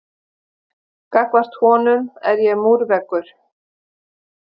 Gagnvart honum er ég múrveggur.